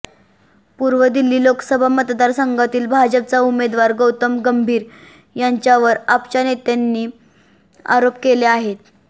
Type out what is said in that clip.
पूर्व दिल्ली लोकसभा मतदारसंघातील भाजपचा उमेदवार गौतम गंभीर याच्यावर आपच्या नेत्यांनी आरोप केले आहेत